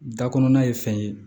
Da kɔnɔna ye fɛn ye